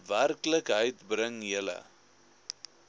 werklikheid bring julle